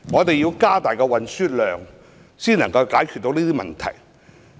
只有透過增加載客量，才能解決這問題。